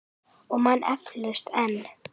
Og man eflaust enn.